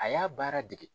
A y'a baara dege